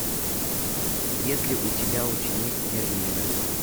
есть ли у тебя ученик мерлина